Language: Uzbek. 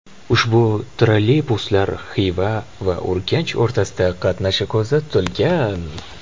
Ushbu trolleybuslar Xiva va Urganch o‘rtasida qatnashi ko‘zda tutilgan.